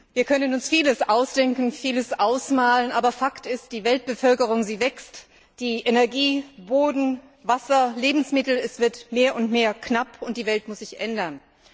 Wir können uns vieles ausdenken, vieles ausmalen, aber Fakt ist Die Weltbevölkerung wächst, Energie, Boden, Wasser, Lebensmittel werden mehr und mehr knapp, und die Welt muss sich ändern.